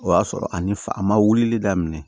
O y'a sɔrɔ ani fa ma wulili daminɛ